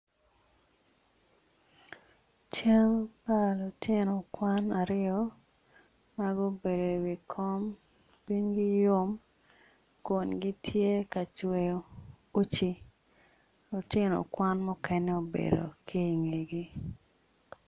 Cal pa lutino kwan aryo ma gubedo iwi kom cwinygi yom kun gitye kacweyo uci lutino kwan mukene obedo ki ingegi